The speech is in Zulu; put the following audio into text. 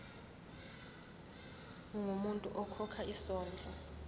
ungumuntu okhokha isondlo